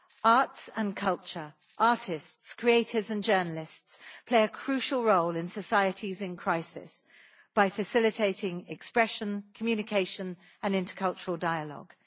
Arts and culture, artists, creators and journalists play a crucial role in societies in crisis by facilitating expression, communication and intercultural dialogue.